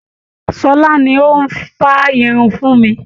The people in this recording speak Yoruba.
Ṣọlá ni ó ń fá irun fún mi